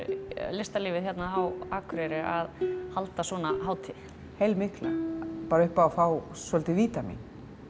listalífið á Akureyri að halda svona hátíð heilmikla bara upp á að fá svolítið vítamín